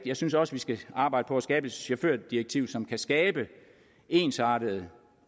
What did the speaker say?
jeg synes også vi skal arbejde på at skabe et chaufførdirektiv som kan skabe ensartede